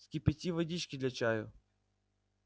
вскипяти водички для чаю